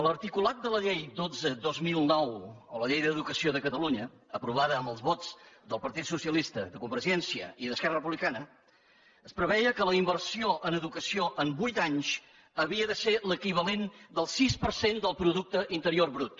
l’articulat de la llei dotze dos mil nou o la llei d’educació de catalunya aprovada amb els vots del partit socialista de convergència i d’esquerra republicana preveia que la inversió en educació en vuit anys havia de ser l’equivalent del sis per cent del producte interior brut